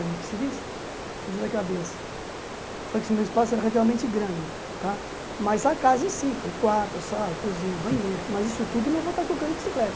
cabeça Eu falei que meu espaço era relativamente grande tá, mas a casa em si, que é quarto, sala, cozinha, banheiro, mas isso tudo eu não vou estar colocando bicicleta.